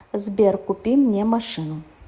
сбер купи мне машину